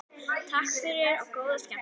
Takk fyrir og góða skemmtun.